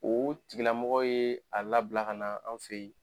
O o tigilamɔgɔ ye a labila ka na an fe yen